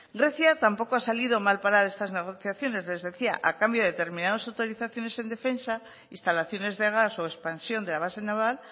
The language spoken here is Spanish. grecia tampoco ha salido mal parada de estas negociaciones les decía a cambio de determinados autorizaciones en defensa instalaciones de gas o expansión de la base naval